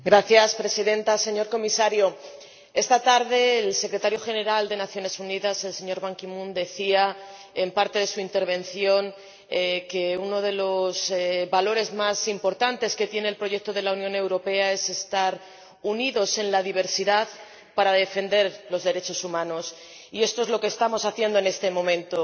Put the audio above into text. Señora Presidenta, señor Comisario, esta tarde el Secretario General de las Naciones Unidas, el señor Ban Ki moon, decía, en parte de su intervención, que uno de los valores más importantes que tiene el proyecto de la Unión Europea es estar unidos en la diversidad para defender los derechos humanos, y esto es lo que estamos haciendo en este momento.